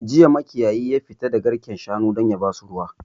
Jiya makiyayi ya fita da garken shanu don yabasu ruwa